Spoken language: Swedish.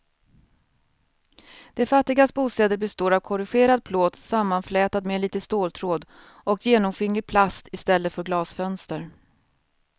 De fattigas bostäder består av korrugerad plåt sammanflätad med lite ståltråd och genomskinlig plast i stället för glasfönster.